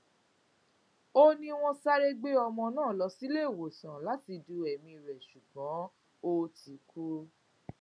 ó ní wọn sáré gbé ọmọ náà lọ síléèwọsán láti du ẹmí rẹ ṣùgbọn ó ti kú